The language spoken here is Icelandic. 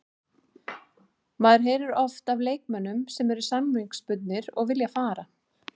Maður heyrir oft af leikmönnum sem eru samningsbundnir og vilja fara.